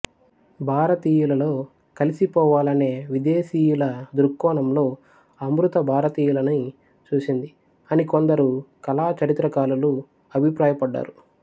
భారతీయులలో కలిసిపోవాలనే విదేశీయుల దృక్కోణం లో అమృత భారతీయులని చూసింది అని కొందరు కళా చరిత్రకారులు అభిప్రాయపడ్డారు